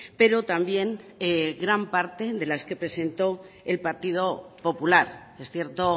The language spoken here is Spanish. pero también gran parte de las que presentó el partido popular es cierto